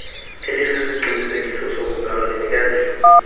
elisisiqinisekiso sokuzalwa linikezelwa